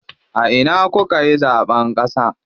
A ina kukayi zaɓen ƙasa?